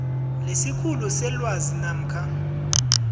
lesikhulu selwazi namkha